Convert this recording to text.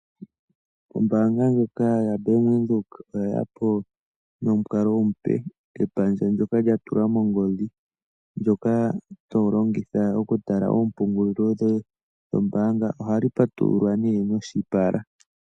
Ombaanga ndjoka yaBank Windhoek oye ya po nomukalo omupe, epandja ndyoka lya tulwa mongodhi ndyoka to longitha okutala ompungulilo yoye yombaanga. Ohali patululwa nduno noshipala.